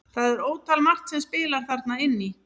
Það er ótal margt sem spilar þarna inn í.